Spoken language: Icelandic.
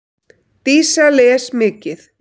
Dísa les mikið.